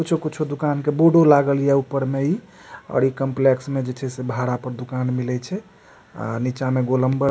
कुछो-कुछो दुकान का बोर्डो लागल हिया ऊपर में इ और इ काम्प्लेक्स में जी छे से भाड़ा पर दुकान मिले छे नीचा मे गोलम्बर --